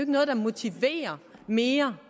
noget der motiverer mere